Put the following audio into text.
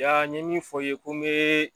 Ya n ye min fɔ ye ko bɛɛɛ.